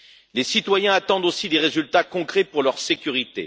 Les citoyens attendent aussi des résultats concrets pour leur sécurité.